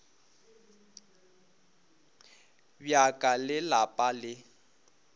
bja ka le lapa le